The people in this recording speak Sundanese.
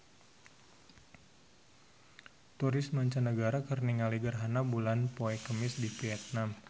Turis mancanagara keur ningali gerhana bulan poe Kemis di Vietman